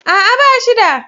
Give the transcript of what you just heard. A'a, ba shi da.